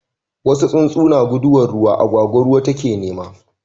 wasu tsuntsu na guduwan ruwa, agwagwa ruwa ta ke nema